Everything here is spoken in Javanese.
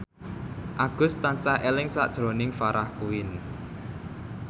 Agus tansah eling sakjroning Farah Quinn